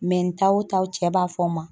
ta o ta o cɛ b'a fɔ ma